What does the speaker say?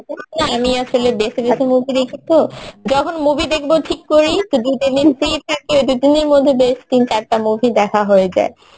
আমি আসলে বেচে বেচে movie দেখি তো, যখন movie দেখবো ঠিক করি তো দু তিন দিন free থাকে দুদিনের মধ্যে বেশ তিন চারটা movie দেখা হয়ে যায়